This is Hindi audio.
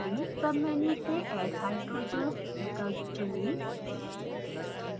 सबमेनू से add hydrogens विकल्प चुनें